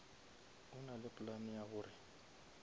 e nale plan ya gore